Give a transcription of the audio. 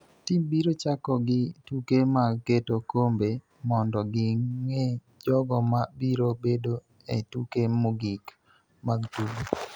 Tim biro chako gi tuke mag keto kombe mondo ging�e jogo ma biro bedo e tuke mogik mag tugo,